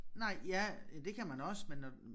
Nej ja det kan man også men når